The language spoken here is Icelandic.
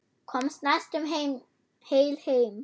Komst næstum heil heim.